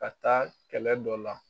Ka taa kɛlɛ dɔ la.